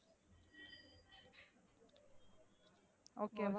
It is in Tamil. Okay வ,